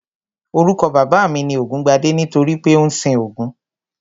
Orúkọ bàbá mi ni Ògúngbadé nítorí pé ó ń sin Ògún